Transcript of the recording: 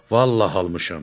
Vallahi almışam.